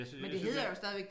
Jeg synes helt sikkert